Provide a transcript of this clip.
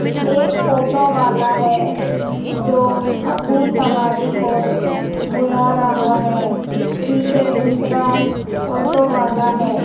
एक ऑटो वाला है जो अपनी सवारी को बुला रहा है पीछे दूसरा ऑटो वाला है।